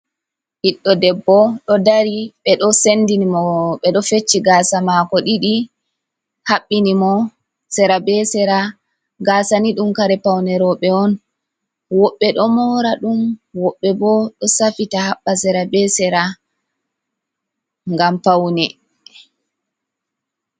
Ɓiɗɗo debbo ɗo dari. Ɓe ɗo sendini mo, ɓe ɗo fecci gaasa maako ɗiɗi, haɓɓini mo sera be sera. Gaasa ni ɗum kare paune rooɓe on, woɓɓe ɗo moora ɗum, woɓɓe bo ɗo safita, haɓɓa sera be sera ngam paune.